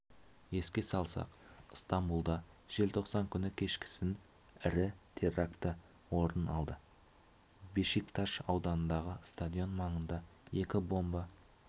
еске салсақ стамбулда желтоқсан күні кешкісін ірі терракті орын алды бешикташ ауданындағы стадион маңында екі бомба